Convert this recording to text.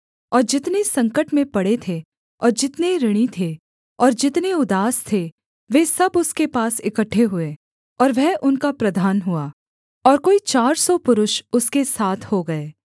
और जितने संकट में पड़े थे और जितने ऋणी थे और जितने उदास थे वे सब उसके पास इकट्ठे हुए और वह उनका प्रधान हुआ और कोई चार सौ पुरुष उसके साथ हो गए